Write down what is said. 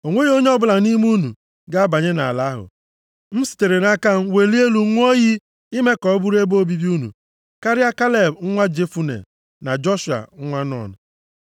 O nweghị onye ọbụla nʼime unu ga-abanye nʼala ahụ, m sitere nʼaka m welie elu ṅụọ iyi ime ka ọ bụrụ ebe obibi unu, karịa Kaleb nwa Jefune na Joshua nwa Nun.